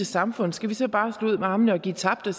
samfund skal vi så bare slå ud med armene og give fortabt og